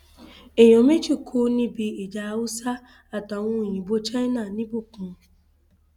èèyàn méjì kú níbi ìjà haúsá àtàwọn òyìnbó china nìbókun